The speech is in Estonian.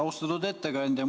Austatud ettekandja!